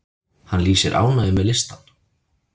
Hann lýsir ánægju með listann.